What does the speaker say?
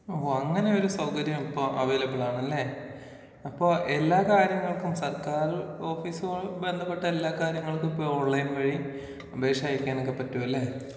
ഓ അങ്ങനെ ഒരു സൗകര്യം ഇപ്പോ അവൈലബിളാണല്ലേ. അപ്പോൾ എല്ലാ കാര്യങ്ങൾക്കും സർക്കാര് ഓഫീസുകൾ ബന്ധപ്പെട്ട എല്ലാ കാര്യങ്ങൾക്കും ഇപ്പോൾ ഈ ഓൺലൈൻ വഴി അപേക്ഷ അയക്കാനൊക്കെ പറ്റും അല്ലേ.